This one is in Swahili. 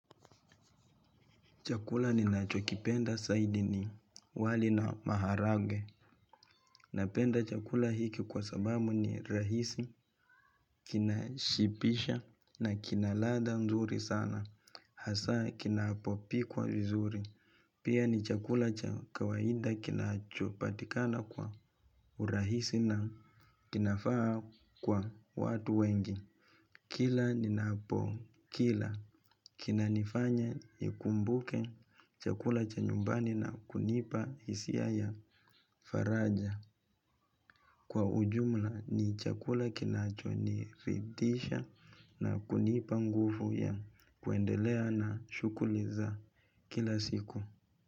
Chakula ninacho kipenda zaidi ni, wali na maharage. Napenda chakula hiki kwa sababu ni rahisi, kinashibisha na kina ladha nzuri sana, hasa kinapopikwa vizuri. Pia ni chakula cha kawaida kinachopatikana kwa urahisi na kinafaa kwa watu wengi. Kila ninapokila kinanifanya nikumbuke chakula cha nyumbani na kunipa hisia ya faraja. Kwa ujumla ni chakula kinachonifidisha na kunipa nguvu ya kuendelea na shughuli za kila siku.